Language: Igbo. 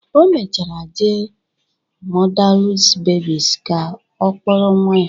O mechara jee mọdales bebis ka ọ kpọrọ nwa ya